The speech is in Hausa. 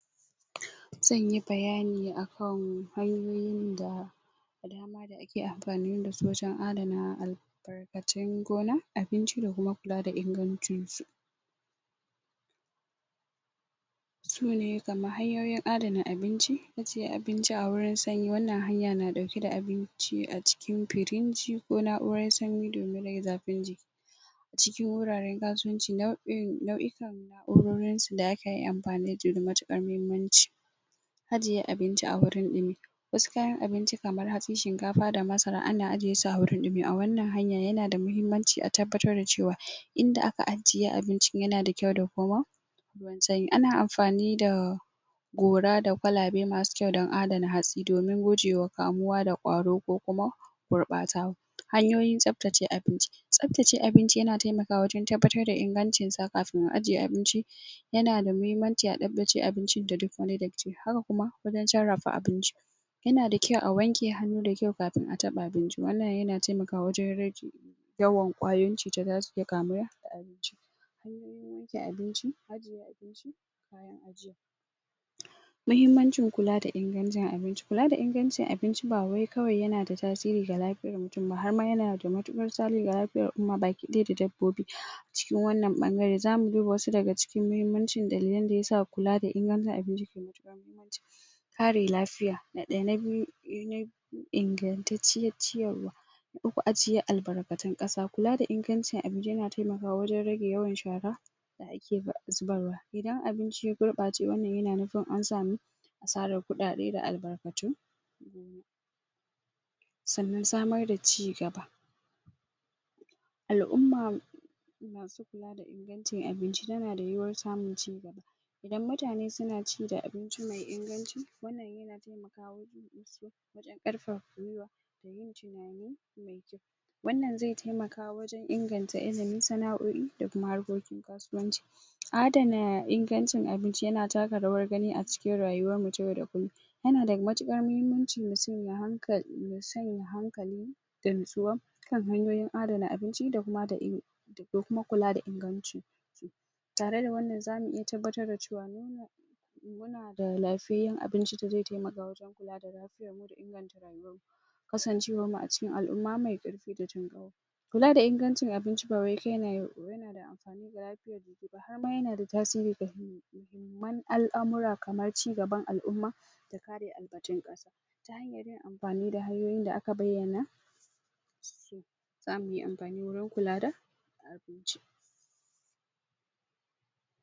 ? zanyi bayani akan hanyoyin da ake ampani dasu wajen adana albarkatun gona abinci da kuma kula da ingancinsu su ne kaman hanyoyin adana abinci ajiye abinci a wurin sanyi wannan hanya na ɗauke da abinci a cikin piringi ko na'uran sanyi domin rage zafin jiki cikin wuraren kasuwanci nau'in nau'ukan na'urorinsu da akayi ampani na da matuƙar mahimmanci ajiye abinci a wurin ɗumi wasu kayan abinci kamar hatsi, shinkafa da masara ana ajiye su a wuri mai ɗumi a wannan hanya yana da mahimmanci a tabbatar da cewa inda aka ajiye abincin yana da kyau da kuma sanyi ana amfani da gora da kwalabe masu kyau don adana hatsi domin gujewa kamuwa da ƙwaro ko kuma gurɓata hanyoyin tsaftace abinci tsaftace abinci yana taimakawa wajen tabbatar da ingancinsa kafin a ajiye abinci yana da mahimmanci a tsaftace abincin da duk wani datti haka kuma wajen sarrafa abincin yana da kyau a wanke hannu da kyau kafin taɓa abinci wannan yana taimakawa wajen rage yawan ƙwayoyin cutan da zasu iya kamuwa da abincin hanyoyin wanke abinci ajiye abinci bayan ajiya mahimmancin kula da ingancin abinci kula da ingancin abinci ba wai kawai yana da tasiri ga lafiyar mutun ba har ma yana da tasiri ga lafiyar al'uma gaba ɗaya da dabbobi cikin wannan ɓangare zamu duba wasu daga cikin muhimmancin dalilin da yasa kula da ingancin abinci ke da? kare lafiya na ɗaya na biyu ingantacciyar ciyarwa ajiyar albarkatun ƙasa kula da ingancin abinci yana taimakawa wajen rage yawan shaƙa ake zubarwa idan abinci ya gurɓace wannan yana nufin an sami asarar kuɗaɗe da albarkatu sannan samar da cigaba al'umma masu kula da ingancin abinci tana da yiwuwar samun cigaba idan mutane suna ci da abinci mai inganci wannan yana taimaka musu wajen ƙarfafa gwiwa da yin tinani mai kyau wannanzai taimaka wajen inganta ilimin sana'o'i da kuma harkokin kasuwanci adana ingancin abinci yana taka rawar gani a cikin rayuwarmu ta yau da kullun yana da matuƙar mahimmanci mutun ya sanya hankali da natsuwa kan hanyoyin adana abinci da kuma da kuma kula da inganci tare da wannan zamu iya tabbatar da cewa muna da lafiyayyen abinci da zai taimaka wajen kula da lafiyarmu da inganta rayuwanmu kasancewanmu a cikin al'uma mai ƙarfi da jin ƙai kula da ingancin abinci ba wai kawai yana da amfani ga lafiyar jiki ba har ma yana da tasiri ga muhimman al'amura kaman ci gaban al'umma da kare albarkatun ƙasa yin amfani da hanyoyin da aka bayyana zamuyi ampani wurin kula da abinci